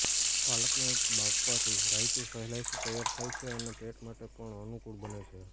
પાલકને બાફવાથી રાઇતું સહેલાઈથી તૈયાર થાય છે અને પેટ માટે પણ અનુકુળ બને છે